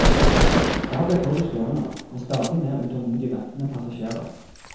Der ble toget stående med stadig mer utålmodig ventende passasjerer.